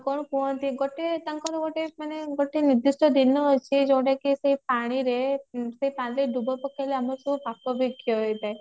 କଣ କୁହନ୍ତି ଗୋଟିଏ ତାଙ୍କର ଗୋଟେ ମାନେ ଗୋଟେ ନିର୍ଦିଷ୍ଟ ଦିନ ଅଛି ଯୋଉଟା କ୍ଜି ସେ ପାଣିରେ ସେ ପାଣିରେ ଡୁବ ପକେଇଲେ ଆମର ସବୁ ପାପ ବି କ୍ଷୟ ହେଇ ଥାଏ